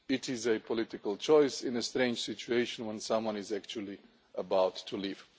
It is a political choice, in a strange situation, when someone is actually about to leave.